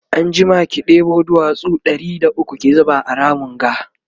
anjima ki ɗebo duwatsu Ɗari da ukwu ki zuba a Ramin ga